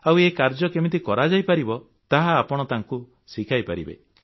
ଆଉ ଏ କାର୍ଯ୍ୟ କେମିତି କରାଯାଇପାରିବ ତାହା ଆପଣ ଶିଖାଇପାରିବେ